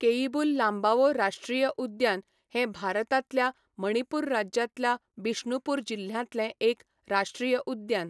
केइबुल लांबाओ राश्ट्रीय उद्यान हें भारतांतल्या मणिपूर राज्यांतल्या बिष्णुपूर जिल्ह्यांतलें एक राश्ट्रीय उद्यान.